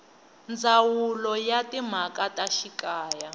ndzawulo ya timhaka ta xikaya